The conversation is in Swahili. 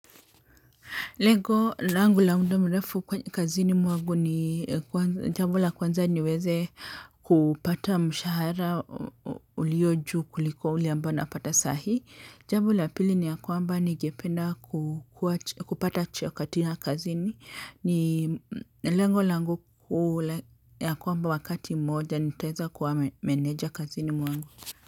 Lengo langu la muda mrefu kwa kazini mwangu ni jambo la kwanza niweze kupata mshahara uliojuu kuliko ule ambao napata sahii. Jambo la pili ni ya kwamba ningependa kupata cheo katika kazini. Lengo langu ule ya kwamba wakati mmoja nitaweza kuwa meneja kazini mwangu.